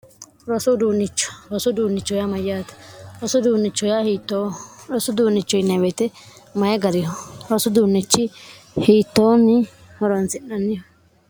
rosuduunnichorosu duunnichohyaa mayyaate roudunichhioorosu duunnicho yinweete maye gariho rosu duunnichi hiittoonni horantsi'nanniho